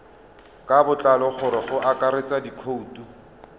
ka botlalo go akaretsa dikhoutu